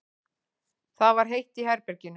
Það var heitt í herberginu.